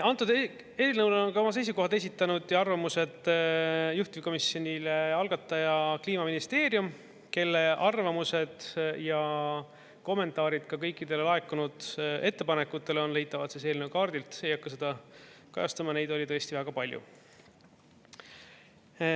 Antud eelnõule on oma seisukohad esitanud ja arvamused juhtivkomisjonile algataja Kliimaministeerium, kelle arvamused ja kommentaarid ka kõikidele laekunud ettepanekutele on leitavad eelnõu kaardilt, ei hakka seda kajastama, neid oli tõesti väga palju.